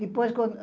Depois, quando...